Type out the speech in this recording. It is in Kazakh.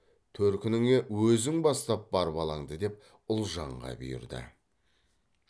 төркініңе өзің бастап бар балаңды деп ұлжанға бұйырды